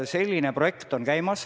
Selline projekt on käimas.